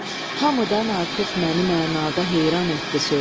Hamıdan artıq məni mənada heyran etdi söz.